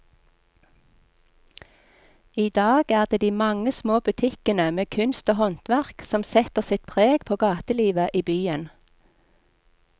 I dag er det de mange små butikkene med kunst og håndverk som setter sitt preg på gatelivet i byen.